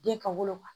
Den ka wolo wa